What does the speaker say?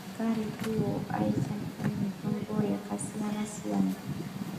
Antu ekaretu aishandisa mitombo yakasiyana-siyana,